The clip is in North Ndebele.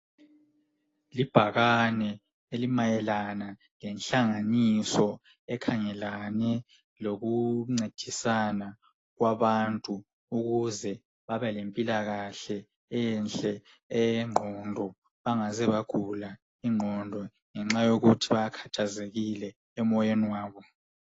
Libhakane elimayalana ngehlanganiso ekhangelane lokuncedisana kwabantu, ukuze babe lemphilakahle enhle eyeqondo, bangaze bagula iqongo ngenxa yokuthi bakhathazekile emoyeni wabo.